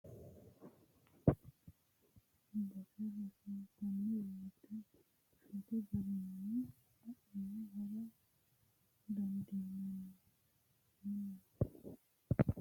Siwiillateni togo uduune loonse gamba assa faayyate harancho diro heera dandaanoha ikkirono mite baseni mite base mine soori'nanni woyte shotu garinni adhine hara dandiinanni.